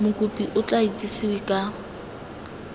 mokopi o tla itsesewe ka